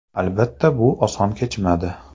Albatta, bu oson kechmadi.